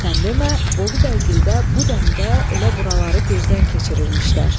Sən demə, Bolubəygildə bu dəmdə elə buraları gözdən keçirirmişlər.